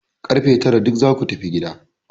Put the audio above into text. Kar fe tara duk za ku tafi gida!